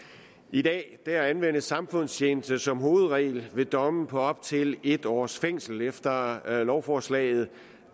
i dag anvendes samfundstjeneste som hovedregel ved domme på op til en års fængsel efter lovforslaget